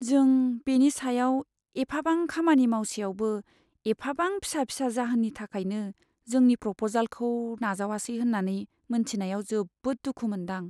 जों बेनि सायाव एफाबां खामानि मावसेयावबो एफाबां फिसा फिसा जाहोननि थाखायनो जोंनि प्रप'जालखौ नाजावासै होन्नानै मोन्थिनायाव जोबोद दुखु मोनदां।